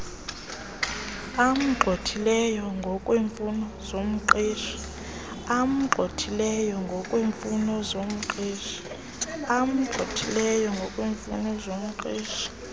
amgxhothileyo ngokweemfuno zomqeshi